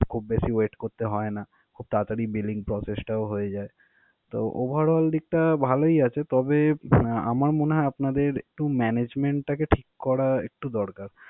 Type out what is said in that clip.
খুব বেশি wait করতে হয় না. খুব তারাতারি billing process টাও হয়ে যায়. তো overall দিকটা ভালোই আছে তবে আমার মনে হয় আপনাদের একটু management টাকে ঠিক করা একটু দরকার.